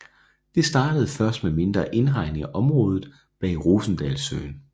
Det startede først med mindre indhegning af området bag Rosendalssøen